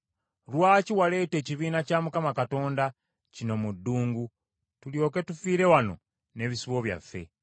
Lwaki waleeta ekibiina kya Mukama Katonda kino mu ddungu tulyoke tufiire wano n’ebisibo byaffe?